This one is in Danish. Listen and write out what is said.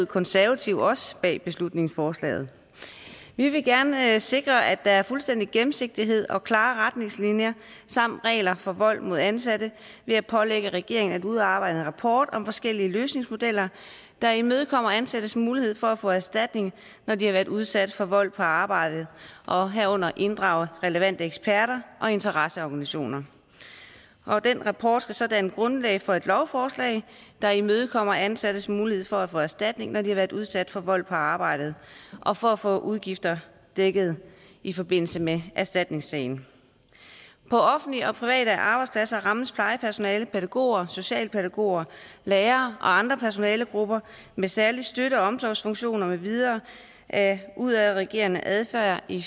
konservative også bag beslutningsforslaget vi vil gerne sikre at der er fuldstændig gennemsigtighed og klare retningslinjer samt regler for vold mod ansatte ved at pålægge regeringen at udarbejde en rapport om forskellige løsningsmodeller der imødekommer ansattes mulighed for at få erstatning når de har været udsat for vold på arbejdet og herunder inddrage relevante eksperter og interesseorganisationer den rapport skal så danne grundlag for et lovforslag der imødekommer ansattes mulighed for at få erstatning når de har været udsat for vold på arbejdet og for at få udgifter dækket i forbindelse med erstatningssagen på offentlige og private arbejdspladser rammes plejepersonale pædagoger socialpædagoger lærere og andre personalegrupper med særlige støtte og omsorgsfunktioner med videre af udadreagerende adfærd i